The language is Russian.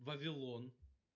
вавилон